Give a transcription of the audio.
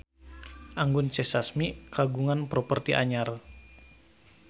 Anggun C. Sasmi kagungan properti anyar